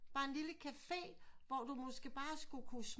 Bare en lille cafe hvor du måske bare skulle kunne